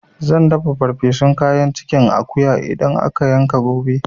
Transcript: Zan dafa ferfesun kayan cikin akuya idan aka yanka gobe